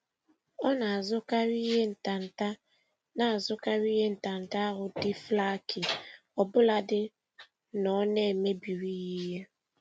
Ọ na-azụkarị ihe ntanta na-azụkarị ihe ntanta ahụ dị flaky ọbụladị na ọ na-emebiri ya ihe.